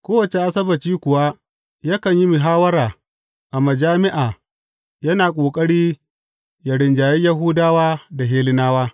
Kowace Asabbaci kuwa yakan yi muhawwara a majami’a, yana ƙoƙari yă rinjayi Yahudawa da Hellenawa.